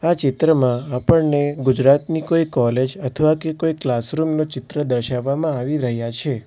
આ ચિત્રમાં આપણને ગુજરાતની કોઈ કોલેજ અથવા કે કોઈ ક્લાસરૂમ નું ચિત્ર દર્શાવવામાં આવી રહ્યા છે..